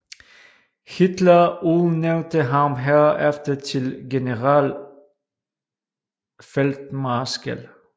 Hitler udnævnte ham herefter til generalfeltmarskal